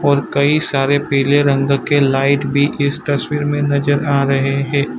और कई सारे पीले रंग के लाइट भी इस तस्वीर में नजर आ रहे है।